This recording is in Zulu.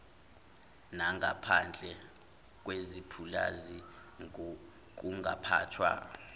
nangaphandle kwepulazi kungaphathwa